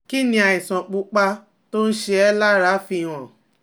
Kí ni àìsàn pupa tó ń ṣe ẹ́ lára fi hàn?